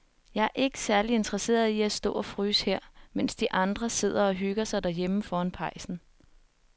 Jeg er ikke særlig interesseret i at stå og fryse her, mens de andre sidder og hygger sig derhjemme foran pejsen.